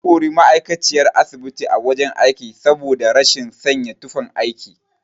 An kori ma'aikaciyar asibiti a wajen aiki saboda rashin sanya tufan aiki.